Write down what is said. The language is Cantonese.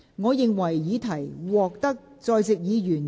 我宣布議案獲得通過。